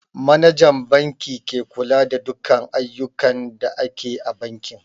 Manajan banki ke kula da dukan ayyukan da ake a banki